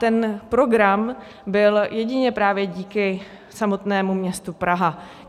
Ten program byl jedině právě díky samotnému městu Praha.